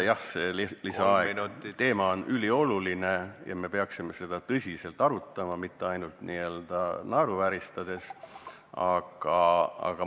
Jah, see teema on ülioluline ja me peaksime seda tõsiselt arutama, mitte naeruvääristades.